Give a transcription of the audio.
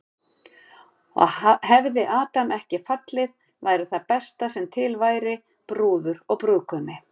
Og hefði Adam ekki fallið væri það besta sem til væri, brúður og brúðgumi.